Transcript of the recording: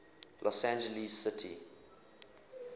los angeles city